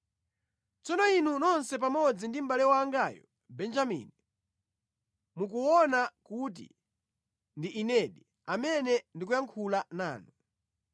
“Tsono inu nonse pamodzi ndi mʼbale wangayu Benjamini, mukuona kuti ndi inedi amene ndikuyankhula nanu.